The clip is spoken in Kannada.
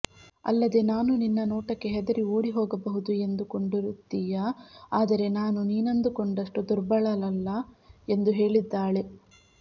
ಅಲ್ಲದೇ ನಾನು ನಿನ್ನ ನೋಟಕ್ಕೆ ಹೆದರಿ ಓಡಿಹೋಗಬಹುದು ಎಂದು ಕೊಂಡಿರುತ್ತೀಯ ಆದರೆ ನಾನು ನೀನಂದುಕೊಂಡಷ್ಟು ದುರ್ಬಲಳಲ್ಲ ಎಂದು ಹೇಳಿದ್ದಾಳೆ